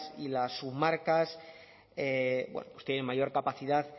y las comarcas pues tienen mayor capacidad